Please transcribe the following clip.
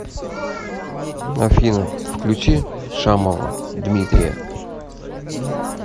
афина включи шамова дмитрия